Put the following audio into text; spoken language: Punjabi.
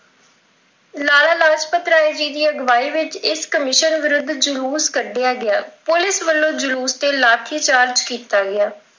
ਲਾਲ ਲਾਜਪਤ ਰਾਏ ਦੀ ਅਗਵਾਈ ਵਿੱਚ ਇਸ ਕਮਿਸ਼ਨ ਵਿਰੁੱਧ ਜਲੂਸ ਕੱਢਿਆਂ ਗਿਆ। ਪੁਲਿਸ ਵੱਲੋਂ ਜਲੂਸ ਤੇ ਲਾਠੀਚਾਰਜ ਕੀਤਾ ਗਿਆ